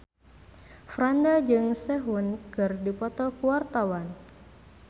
Franda jeung Sehun keur dipoto ku wartawan